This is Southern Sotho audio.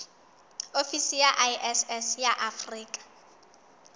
ofisi ya iss ya afrika